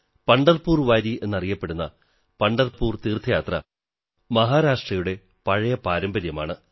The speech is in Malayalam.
പംഢർപൂർ വാരി എന്നറിയപ്പെടുന്ന പംഢർപൂർ തീർഥയാത്ര മഹാരാഷ്ട്രയുടെ പഴയ പാരമ്പര്യമാണ്